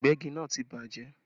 Ìgbẹ́gi náà ti bàjẹ́